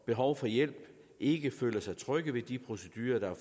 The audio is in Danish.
behov for hjælp ikke føler sig trygge ved de procedurer der